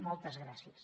moltes gràcies